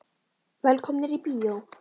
Velkomnir í bíó.